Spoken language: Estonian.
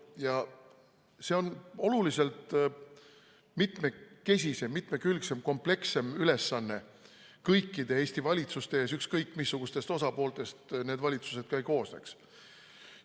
Ja see on oluliselt mitmekesisem, mitmekülgsem ja komplekssem ülesanne kõikide Eesti valitsuse ees, ükskõik, missugustest osapooltest need valitsused ka ei koosneks.